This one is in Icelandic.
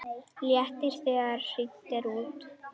Léttir þegar hringt er út.